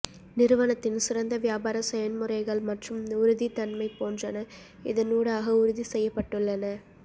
நிறுவனத்தின் சிறந்த வியாபார செயன்முறைகள் மற்றும் உறுதித்தன்மை போன்றன இதனூடாக உறுதி செய்யப்பட்டுள்ளன